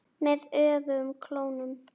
Með öfugum klónum.